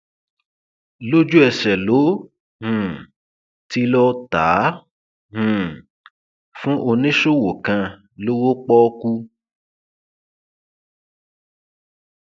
lójúẹsẹ ló um ti lọọ ta á um fún oníṣòwò kan lówó pọọkú